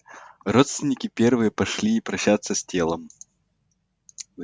родственники первые пошли прощаться с телом